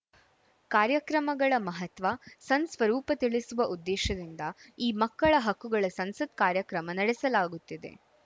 ಕಾರ್ಯಕ್ರಮಗಳ ಮಹತ್ವ ಸಂಸ್‌ ಸ್ವರೂಪ ತಿಳಿಸುವ ಉದ್ದೇಶದಿಂದ ಈ ಮಕ್ಕಳ ಹಕ್ಕುಗಳ ಸಂಸತ್‌ ಕಾರ್ಯಕ್ರಮ ನಡೆಸಲಾಗುತ್ತಿದೆ